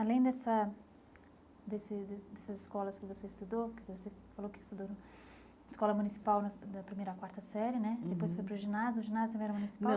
Além dessa desse dessas escolas que você estudou, que você falou que estudou na escola municipal da da primeira à quarta série né, depois foi para o ginásio, o ginásio também era municipal?